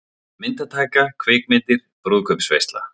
MYNDATAKA, KVIKMYNDIR, BRÚÐKAUPSVEISLA